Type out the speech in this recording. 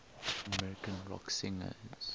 american rock singers